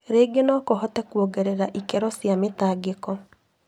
rĩingĩ no kũhote kuongerera ikĩro cia mĩtangĩko.